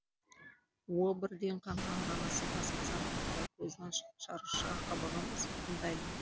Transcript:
уы бірден қанға араласып асқазан арқылы көздің шырықша қабығын зақымдайды